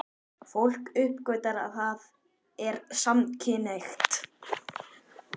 Fólk uppgötvar að það er samkynhneigt.